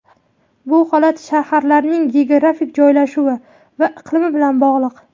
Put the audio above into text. Bu holat shaharlarning geografik joylashuvi va iqlimi bilan bog‘liq.